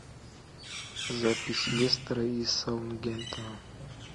запись лестера и саутгемптона